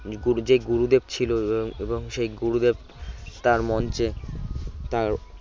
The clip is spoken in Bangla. যে গুরুদেব ছিল উম এবং সেই গুরুদেব তার মঞ্চে তা